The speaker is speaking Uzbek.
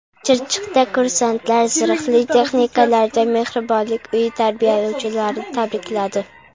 Chirchiqda kursantlar zirhli texnikalarda Mehribonlik uyi tarbiyalanuvchilarini tabrikladi .